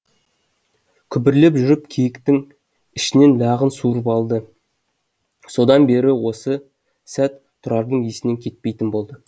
күбірлеп жүріп киіктің ішінен лағын суырып алды содан бері осы сәт тұрардың есінен кетпейтін болды